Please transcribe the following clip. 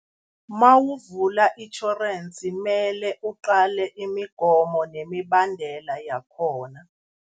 Mawuvula itjhorensi, mele uqale imigomo nemibandela yakhona.